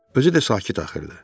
Özü də sakit axırdı.